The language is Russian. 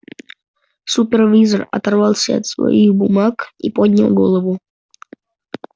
супервизор оторвался от своих бумаг и поднял голову